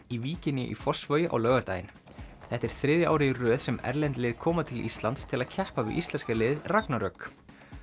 í víkinni í Fossvogi á laugardaginn þetta er þriðja árið í röð sem erlend lið koma til Íslands til að keppa við íslenska liðið ragnarök